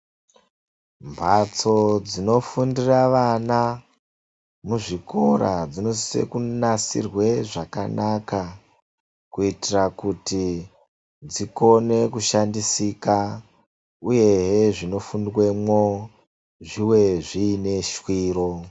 Mhatso dzinofundira vana muzvikora dzinosise kunasirwe zvakanaka. Kuitira kuti dzikone kushandisika uyehe zvinofundwemo zvive zviine shwiro.